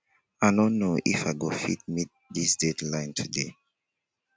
i no know if i go fit meet dis deadline today